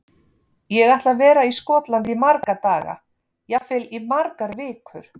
Ég ætla að vera í Skotlandi í marga daga, jafnvel í margar vikur.